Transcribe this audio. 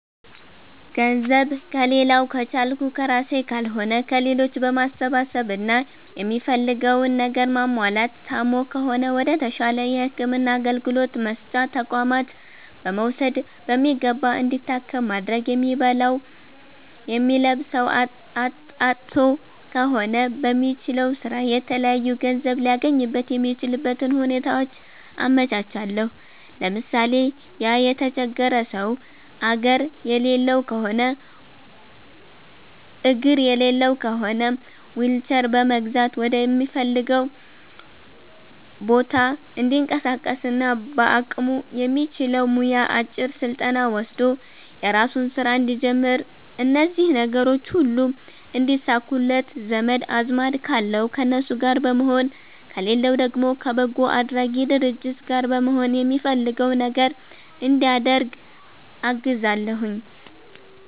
ገንዘብ ከሌላዉ ከቻልኩ ከራሴ ካልሆነ ከሌሎች በማሰባሰብ እና የሚፈልገዉን ነገር ማሟላት ታሞ ከሆነ ወደ ተሻለ የህክምና አገልግሎት መስጫ ተቋማት በመዉሰድ በሚገባ እንዲታከም ማድረግ የሚበላዉ የሚለብሰዉ አጥቶ ከሆነ በሚችለዉ ስራ የተለያዩ ገንዘብ ሊያገኝበት የሚችልበትን ሁኔታዎች አመቻቻለሁ ለምሳሌ፦ ያ የተቸገረ ሰዉ አግር የሌለዉ ከሆነ ዊልቸር በመግዛት ወደሚፈልገዉ ቦታ እንዲንቀሳቀስና በአቅሙ የሚችለዉ ሙያ አጭር ስልጠና ወስዶ የራሱን ስራ እንዲጀምር እነዚህ ነገሮች ሁሉ እንዲሳኩለት ዘመድ አዝማድ ካለዉ ከነሱ ጋር በመሆን ከሌለዉ ደግሞ ከበጎ አድራጊ ድርጅት ጋር በመሆን የሚፈልገዉ ነገር እንዲያደርግ አግዛለሁኝ